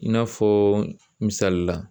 I n'a fɔ misalila.